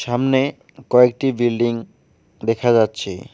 সামনে কয়েকটি বিল্ডিং দেখা যাচ্ছে।